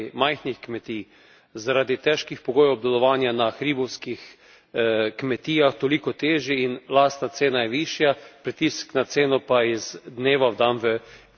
zaradi težkih pogojev obdelovanja na hribovskih kmetijah, toliko težji in lastna cena je višja, pritisk na ceno pa iz dneva v dan večji.